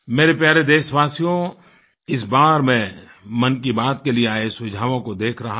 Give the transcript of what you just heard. मेरे प्यारे देशवासियो इस बार मैं मन की बात के लिए आये सुझावों को देख रहा था